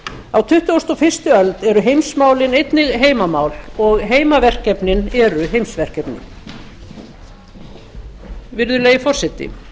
á tuttugustu og fyrstu öld eru heimsmálin einnig heimamál og heimaverkefnin eru heimsverkefni virðulegi forseti